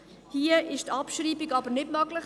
Hier ist die Abschreibung aber nicht möglich.